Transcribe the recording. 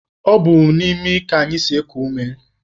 Ọ bụ n'imi ka anyị si eku ume